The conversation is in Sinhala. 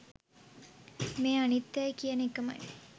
මේ අනිත්‍යයයි කියන එකමයි.